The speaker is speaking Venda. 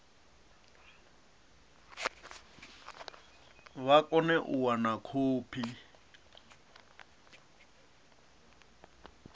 vha kone u wana khophi